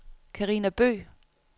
Karina Bøgh